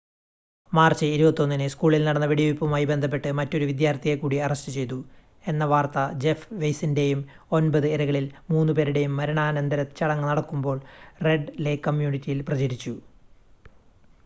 March 21-ന് സ്കൂളിൽ നടന്ന വെടിവെയ്പ്പുമായി ബന്ധപ്പെട്ട് മറ്റൊരു വിദ്യാർത്ഥിയെ കൂടി അറസ്റ്റ് ചെയ്തു എന്ന വാർത്ത ജെഫ് വെയ്സിൻ്റെയും ഒൻപത് ഇരകളിൽ മൂന്ന് പേരുടെയും മരണാനന്തര ചടങ്ങ് നടക്കുമ്പോൾ റെഡ് ലേക് കമ്മ്യൂണിറ്റിയിൽ പ്രചരിച്ചു